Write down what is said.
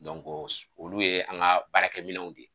olu ye an ka baara kɛ minɛnw de ye.